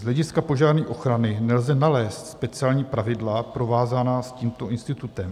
Z hlediska požární ochrany nelze nalézt speciální pravidla provázaná s tímto institutem.